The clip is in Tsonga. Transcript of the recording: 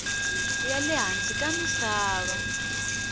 ya le hansi ka misava